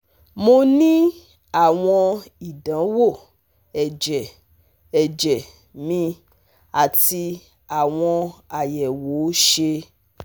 Mo ni awọn idanwo ẹjẹ ẹjẹ mi ati awọn ayẹwo ṣe